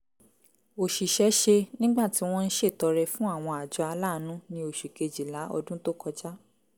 òṣìṣẹ́ ṣe nígbà tí wọ́n ń ṣètọrẹ fún àwọn àjọ aláàánú ní oṣù kejìlá ọdún tó kọjá